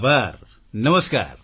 આભાર નમસ્કાર